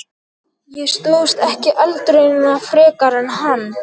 Ég stóðst ekki eldraunina frekar en hann!